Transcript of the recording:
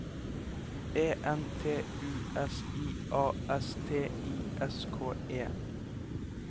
E N T U S I A S T I S K E